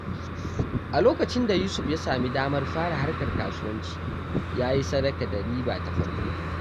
A lokacin da Yusuf ya sami damar fara harkar kasuwanci, ya yi sadaka da riba ta farko.